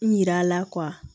Yira a la